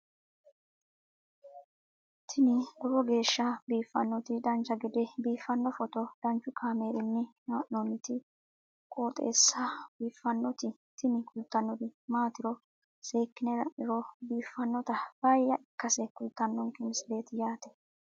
tini lowo geeshsha biiffannoti dancha gede biiffanno footo danchu kaameerinni haa'noonniti qooxeessa biiffannoti tini kultannori maatiro seekkine la'niro biiffannota faayya ikkase kultannoke misileeti yaate